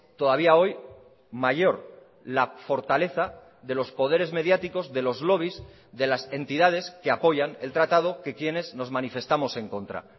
todavía hoy mayor la fortaleza de los poderes mediáticos de los lobbies de las entidades que apoyan el tratado que quienes nos manifestamos en contra